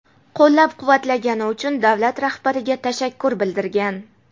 qo‘llab-quvvatlagani uchun davlat rahbariga tashakkur bildirgan.